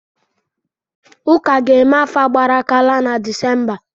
Ụka ga-eme afa gbara aka laa na Disemba.